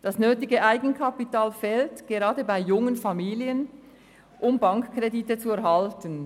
Das nötige Eigenkapital fehlt gerade bei jungen Familien, um Bankkredite zu erhalten.